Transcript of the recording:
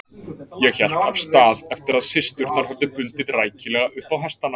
Ég hélt af stað eftir að systurnar höfðu bundið rækilega upp á hestana.